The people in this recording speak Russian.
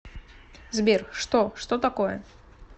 сбер что что такое